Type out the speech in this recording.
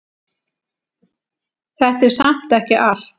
Þetta er samt ekki allt.